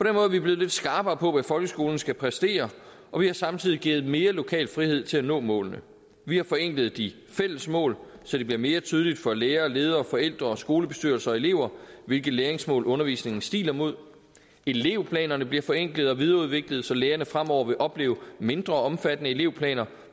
er vi blevet lidt skarpere på hvad folkeskolen skal præstere og vi har samtidig givet den mere lokal frihed til at nå målene vi har forenklet de fælles mål så det bliver mere tydeligt for lærere ledere forældre og skolebestyrelser og elever hvilke læringsmål undervisningen stiler mod elevplanerne bliver forenklet og videreudviklet så lærerne fremover vil opleve mindre omfattende elevplaner